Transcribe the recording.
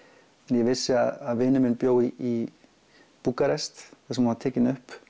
en ég vissi að vinur minn bjó í Búkarest þar sem hún var tekin upp